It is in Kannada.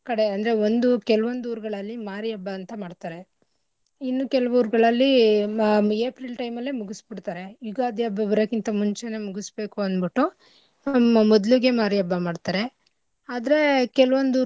ಕಡೆ ಅಂದ್ರೆ ಒಂದು ಕೆಲವೊಂದ್ ಊರ್ಗಳಲ್ಲಿ ಮಾರಿ ಹಬ್ಬ ಅಂತ ಮಾಡ್ತರೆ ಇನ್ನು ಕೆಲವು ಊರ್ಗಳಲ್ಲಿ ಮ~ April time ಅಲ್ಲೇ ಮುಗಿಸ್ಬುಡ್ತರೆ. ಯುಗಾದಿ ಹಬ್ಬ ಬರಕಿಂತ ಮುಂಚೆ ಮುಗಿಸ್ಬೇಕು ಅಂದ್ಬಿಟ್ಟು ಹಾ ಮೊ~ ಮೊದ್ಲಿಗೆ ಮಾರಿ ಹಬ್ಬ ಮಾಡ್ತರೆ ಆದ್ರೇ ಕೆಲ್ವೊಂದ್ ಊರ್.